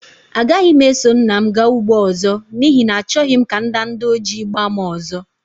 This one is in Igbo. Agaghị m eso nna m gaa ugbo ọzọ, n'ihi na achọghị m ka ndanda ojii gbaa m ọzọ.